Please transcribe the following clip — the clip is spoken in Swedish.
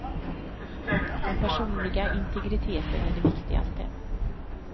Den personliga integriteten är det viktigaste.